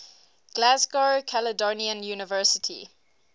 glasgow caledonian university